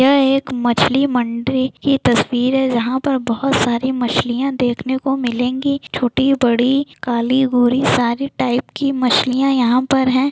यह एक मछली मंडी की तस्वीर है जहा पर बहुत सारी मछलिया देखने को मिलेेंगी छोटी-बड़ी काली-गोरी सारे टाइप की मछलिया यहा पर हैं ।